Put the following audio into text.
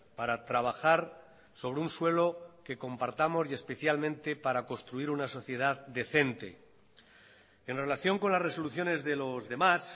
para trabajar sobre un suelo que compartamos y especialmente para construir una sociedad decente en relación con las resoluciones de los demás